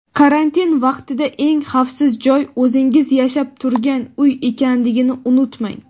Karantin vaqtida eng xavfsiz joy o‘zingiz yashab turgan uy ekanligini unutmang!.